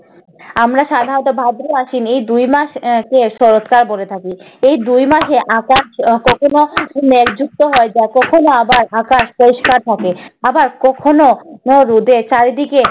আমরা সাধারণত ভাদ্র আশ্বিন এই দুই মাসকে শরৎকাল বলে থাকি। এই দুই মাসে আকাশ কখনো মেঘযুক্ত হয় যা কখনো আবার আকাশ পরিষ্কার থাকে। আবার কখনো কখনো রোদে চারিদিকে